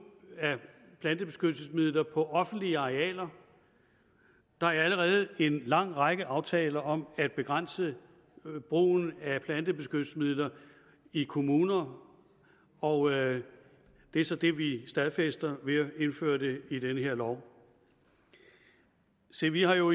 af plantebeskyttelsesmidler på offentlige arealer der er allerede en lang række aftaler om at begrænse brugen af plantebeskyttelsesmidler i kommuner og det er så det vi stadfæster ved at indføre det i den her lov se vi har jo